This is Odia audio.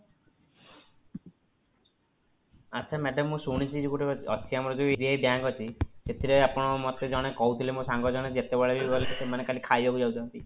ଆଚ୍ଛା madam ମୁଁ ଶୁଣିଚି ଯୋଉ ଗୋଟେ ଅଛି ଆମର ଯୋଉ bank ଅଛି ଏଥିରେ ଆପଣ ମତେ ଜଣେ କହୁଥିଲେ ମୋ ସାଙ୍ଗ ଜଣେ ଯେତେବେଳେ ବି ଗଲେ ସେମାନେ ଖାଲି ଖାଇବାକୁ ଯାଉଛନ୍ତି